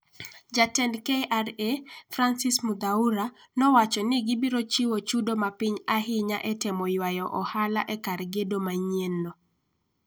Jatend KRA, Francis Muthaura nowacho ni gibiro chiwo chudo ma piny ahinya e temo ywayo ohala e kar gedo manyienno.